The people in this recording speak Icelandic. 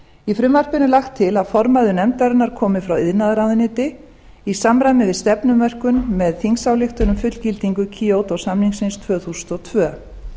í frumvarpinu er lagt til að formaður nefndarinnar komi frá iðnaðarráðuneyti í samræmi við stefnumörkun með þingsályktun um fullgildingu kyoto samningsins tvö þúsund og tvö